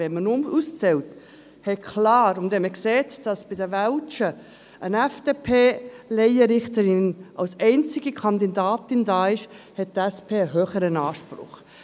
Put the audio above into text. Wenn man aber auszählt und wenn man sieht, dass bei den Welschen eine FDP-Laienrichterin als einzige Kandidatin da ist, hat die SP klar einen höheren Anspruch.